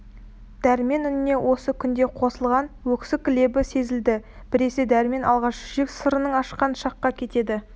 дәрмен үніне осы күнде қосылған өксік лебі сезілді біресе дәрмен алғаш жүрек сырын ашқан шаққа кетеді